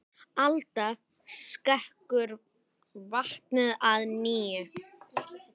Alda skekur vatnið að nýju.